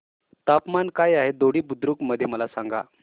तापमान काय आहे दोडी बुद्रुक मध्ये मला सांगा